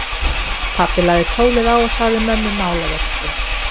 Pabbi lagði tólið á og sagði mömmu málavöxtu.